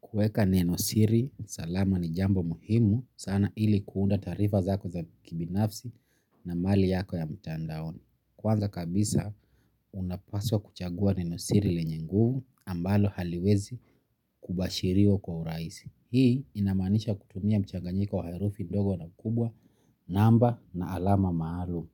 Kueka neno siri salama ni jambo muhimu sana ili kuunda taarifa zako za kibinafsi na mali yako ya mtandaoni. Kwanza kabisa unapaswa kuchagua neno siri lenye nguvu ambalo haliwezi kubashiriwa kwa urahisi. Hii inamanisha kutumia mchanganyiko wa herufi ndogo na kubwa, namba na alama maalum.